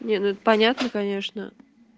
понятно конечно